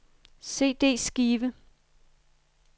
CD-skive